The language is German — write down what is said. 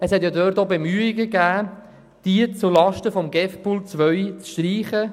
Es gab auch Bemühungen, diese Massnahme zulasten des GEF-Pools 2 zu streichen.